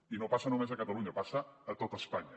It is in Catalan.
i no passa només a catalunya passa a tot espanya